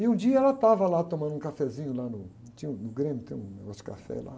E um dia ela estava lá tomando um cafezinho lá no, num tinha um, no grêmio, tem um negócio de café lá.